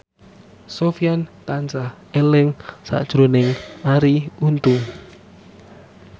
Sofyan tansah eling sakjroning Arie Untung